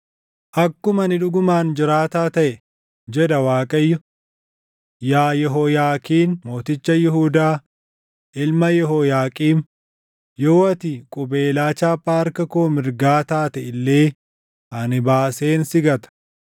“Akkuma ani dhugumaan jiraataa taʼe” jedha Waaqayyo; “Yaa Yehooyaakiin mooticha Yihuudaa, ilma Yehooyaaqiim, yoo ati qubeelaa chaappaa harka koo mirgaa taatee illee ani baaseen si gata.